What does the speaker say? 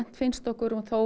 finnst okkur hún þó